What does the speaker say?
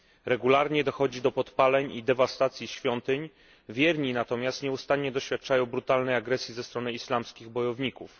Regularnie dochodzi do podpaleń i dewastacji świątyń, wierni natomiast nieustannie doświadczają brutalnej agresji ze strony islamskich bojowników.